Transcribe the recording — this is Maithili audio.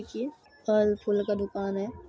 देखिए फल फूल का दुकान है।